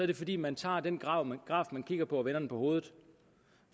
det fordi man tager den graf man kigger på og vender den på hovedet